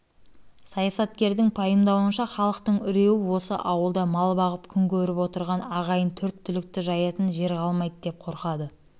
саясаткердің пайымдауынша халықтың үрейі осы ауылда мал бағып күн көріп отырған ағайын төрт түлікті жаятын жер қалмайды деп қорқады